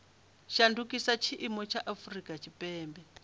shandukisa tshiimo tsha afurika tshipembe